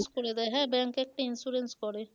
করে দেয় হ্যাঁ bank একটা insurance করে